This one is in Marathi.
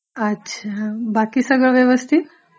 अच्छा, बाकी सगळं व्यवस्थित?